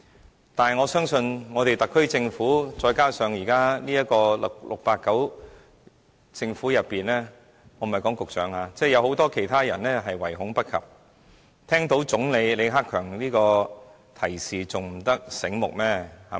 然而，我相信特區政府再加上現時的 "689" 政府——我說的不是局長——有很多人唯恐不及，聽到李克強總理這樣的提示還不醒目嗎？